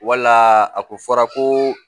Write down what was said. Wala a ko fɔra ko